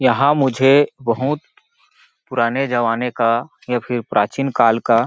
यहाँ मुझे बहुत पुराने ज़माने का या फिर प्राचीन काल का --